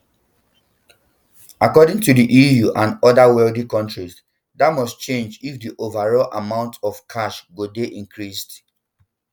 according to di eu and oda wealthy countries dat must change if di overall amount of cash go dey increased